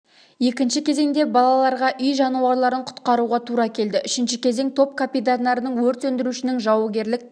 екінші кезеңде балаларға үй жануарларын құтқаруға тура келді үшінші кезең топ капитандарының өрт сөндірушінің жаугерлік